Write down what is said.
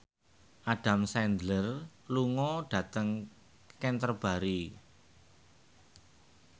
Adam Sandler lunga dhateng Canterbury